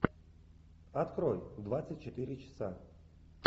открой двадцать четыре часа